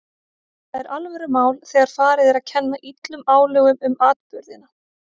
Það er alvörumál þegar farið er að kenna illum álögum um atburðina.